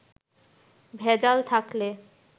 ভেজাল থাকলে